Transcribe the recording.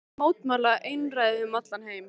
Hversvegna ekki mótmæla einræði um allan heim?